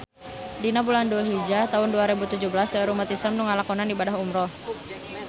Dina bulan Dulhijah taun dua rebu tujuh belas seueur umat islam nu ngalakonan ibadah umrah